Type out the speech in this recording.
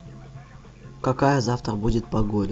какая завтра будет погода